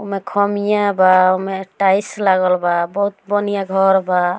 ओमे बा ओमे टाइल्स लागल बा बहुत बढ़ियां घर बा।